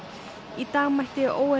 í dag mætti